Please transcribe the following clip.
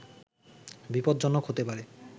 বিপদজ্জনক হতে পারে